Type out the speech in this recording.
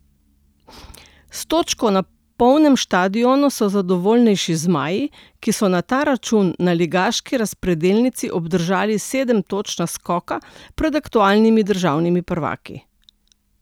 S točko na polnem štadionu so zadovoljnejši zmaji, ki so na ta račun na ligaški razpredelnici obdržali sedem točk naskoka pred aktualnimi državnimi prvaki.